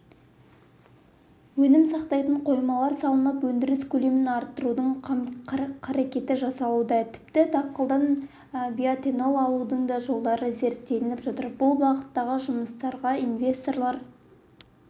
өнім сақтайтын қоймалар салынып өндіріс көлемін арттырудың қам-қарекеті жасалуда тіпті дақылдан биоэтанол алудың да жолдары зерттеліп жатыр бұл бағыттағы жұмыстарға инвесторлар